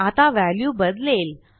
आता व्हॅल्यू बदलेल